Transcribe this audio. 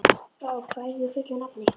Brák, hvað heitir þú fullu nafni?